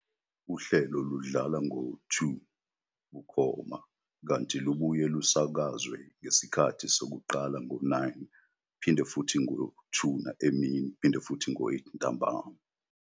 Uhlelo ludlala ngo-02- 00 bukhoma, kanti lubuye lusakazwe ngesikhathi sokuqala ngo-09- 00, 14-00 no-20- 00..